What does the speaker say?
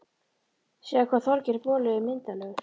Sjáðu hvað Þorgeir boli er myndarlegur